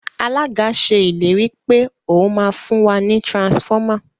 Alága ṣe ìlérí pé òún má fún wá ní transformer.